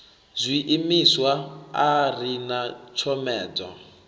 zwiimiswa a ri na tshomedzo